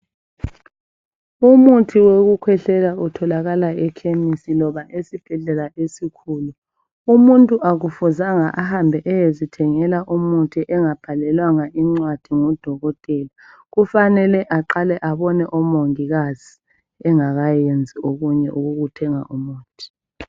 Umuthi wokukhwehlela utholakala echemis loba esibhedlela esikhulu umuntu akufuzanga ahambe eyezithengela umuthi engabhalelwanga incwadi ngudokotela kufanele aqale abone omongikazi engakayenzi okunye okokuthenga umuthi.